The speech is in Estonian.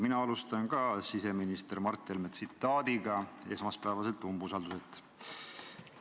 Mina alustan ka siseminister Mart Helme tsitaadiga esmaspäevaselt umbusalduse avaldamiselt.